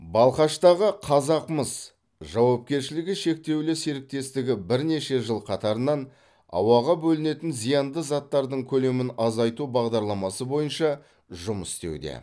балқаштағы қазақмыс жауапкершілігі шектеулі серіктестігі бірнеше жыл қатарынан ауаға бөлінетін зиянды заттардың көлемін азайту бағдарламасы бойынша жұмыс істеуде